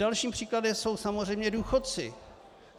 Dalším příkladem jsou samozřejmě důchodci.